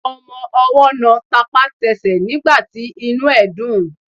Ọmọwọ́ náà tapá tasẹ̀ nígbàtí inú ẹ̀ dùn.